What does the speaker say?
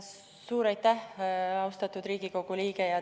Suur aitäh, austatud Riigikogu liige!